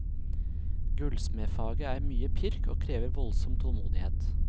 Gullsmedfaget er mye pirk, og krever voldsom tålmodighet.